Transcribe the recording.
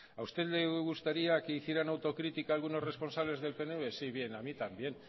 a usted le gustaría que hicieran autocrítica algunos responsables del pnv sí bien a mí también